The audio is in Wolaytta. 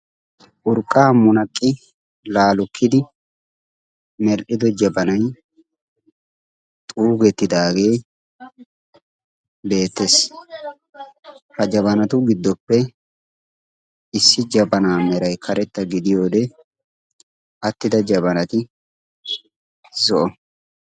urqqaa munaqqi laalukkidi mer'ido jabanay xuugetidaagee beettees ha jabanatu giddoppe issi jabanaa meray karetta gidiyoode attida jabanati zo'a